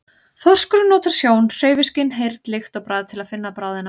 Þorskurinn notar sjón, hreyfiskyn, heyrn, lykt og bragð til að finna bráðina.